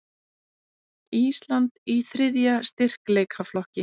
Ísland í þriðja styrkleikaflokki